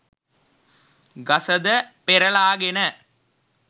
ගසද පෙරළාගෙන